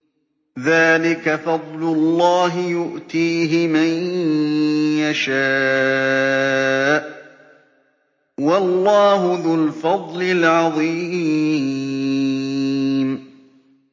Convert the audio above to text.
ذَٰلِكَ فَضْلُ اللَّهِ يُؤْتِيهِ مَن يَشَاءُ ۚ وَاللَّهُ ذُو الْفَضْلِ الْعَظِيمِ